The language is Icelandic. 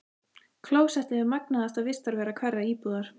Klósettið er magnaðasta vistarvera hverrar íbúðar.